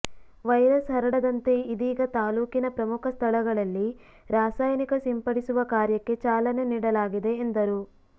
virus ಹರಡದಂತೆ ಇದೀಗ ತಾಲೂಕಿನ ಪ್ರಮುಖ ಸ್ಥಳಗಳಲ್ಲಿ ರಾಸಾಯನಿಕ ಸಿಂಪಡಿಸುವ ಕಾರ್ಯಕ್ಕೆ ಚಾಲನೆ ನೀಡಲಾಗಿದೆ ಎಂದರು